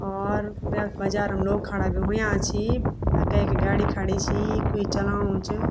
और यख बजारम लोग खड़ा भी हुयां छी अ कैकी गाडी खड़ीं छी कुई चलाणु च।